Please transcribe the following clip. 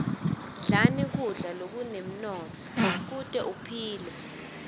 dlani kudla lokunemnotfo kute uphile